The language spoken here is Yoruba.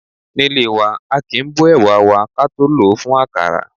Nílé wa, aàkín bó ẹ̀wà wa ka tó lòó fún àkàrà.